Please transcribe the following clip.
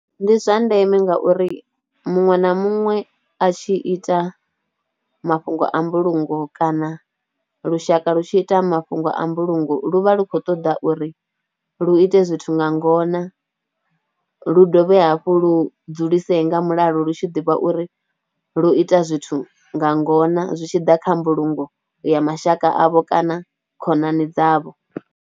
Ndi zwa ndeme ngauri muṅwe na muṅwe a tshi ita mafhungo a mbulungo kana lushaka lu tshi ita mafhungo a mbulungo lu vha lu khou ṱoḓa uri lu ite zwithu nga ngona, lu dovhe hafhu lu dzulisea nga mulalo lu tshi ḓivha uri lwo ita zwithu nga ngona zwi tshi ḓa kha mbulungo ya mashaka avho kana khonani dzavho.